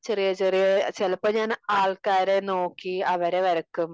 ചെറിയ ചെറിയ ചിലപ്പോ ഞാൻ ആൾക്കാരെ നോക്കി അവരെ വരക്കും